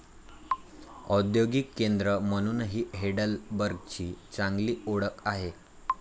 औद्योगिक केंद्र म्हणूनही हेडेलबर्गची चांगली ओळख आहे.